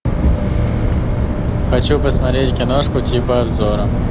хочу посмотреть киношку типа обзора